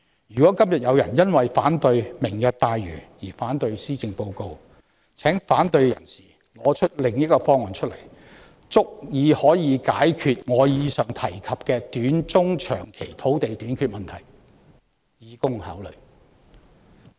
如果今天有人因為反對"明日大嶼願景"而反對施政報告，請反對者提出足以解決我剛才提及的短中長期土地短缺問題的替代方案，以供考慮。